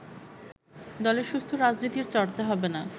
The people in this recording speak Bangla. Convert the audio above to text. দলে সুস্থ রাজনীতির চর্চা হবে না